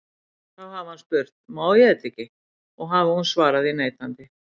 Þá hafi hann spurt: Má ég þetta ekki? og hafi hún svarað því neitandi.